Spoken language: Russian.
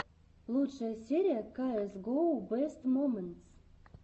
лучшая серия каэс гоу бэст моментс